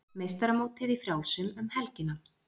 Meistaramótið í frjálsum um helgina